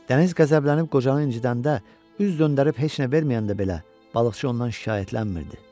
Dəniz qəzəblənib qocanı incitəndə, üz döndərib heç nə verməyəndə belə balıqçı ondan şikayətlənmirdi.